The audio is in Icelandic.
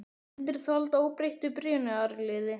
Myndir þú halda óbreyttu byrjunarliði?